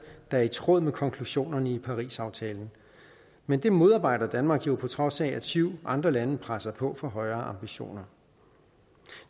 er i tråd med konklusionerne i parisaftalen men det modarbejder danmark jo på trods af at syv andre lande presser på for højere ambitioner